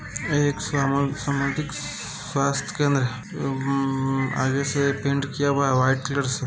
एक समान सामाजिक स्वास्थ्य केंद्र उम् आगे से पेंट किया हुआ व्हाइट कलर से।